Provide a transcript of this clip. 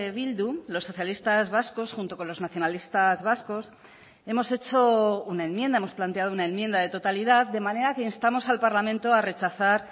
bildu los socialistas vascos junto con los nacionalistas vascos hemos hecho una enmienda hemos planteado una enmienda de totalidad de manera que instamos al parlamento a rechazar